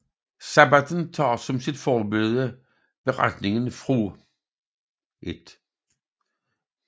Sabbatten tager som sit forbillede beretningen fra 1